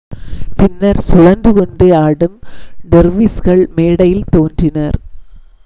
பின்னர் சுழன்று கொண்டே ஆடும் டெர்விஸ்கள் மேடையில் தோன்றினர்